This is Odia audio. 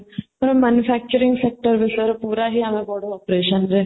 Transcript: manufacturing sector ବିଷୟରେ ପୁରା ହିଁ ଆମେ ପଢୁ operation ରେ